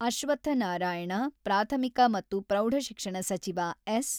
ಅಶ್ವತ್ಥ ನಾರಾಯಣ, ಪ್ರಾಥಮಿಕ ಮತ್ತು ಪ್ರೌಢಶಿಕ್ಷಣ ಸಚಿವ ಎಸ್.